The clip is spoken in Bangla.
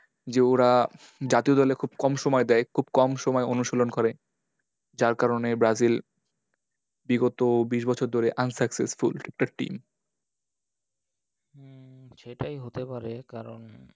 যে ওরা জাতীয় দলে খুব কম সময় দেয়। খুব সময় অনুশীলন করে। যার কারণে Brazil বিগত বিশ বছর ধরে unsuccessful team হম সেটাই হতে পারে কারণ,